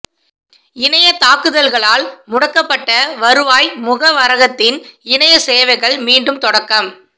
இணையத் தாக்குதல்களால் முடக்கப்பட்ட வருவாய் முகவரகத்தின் இணையச் சேவைகள் மீண்டும் தொடக்கம்